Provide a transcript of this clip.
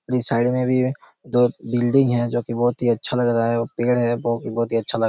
जो साइड में भी हैं एक दो बिल्डिंग है जो कि बहुत ही अच्छा लग रहा है एक पेड़ है जो बहोत ही अच्छा लग रहा है।